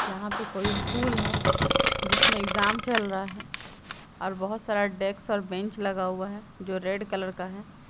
यहां पे कोई स्कूल है जिसमें एग्जाम चल रहा है और बहुत सारा डेस्क और बेंच लगा हुआ है जो रेड कलर का है।